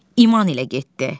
İman ilə getdi.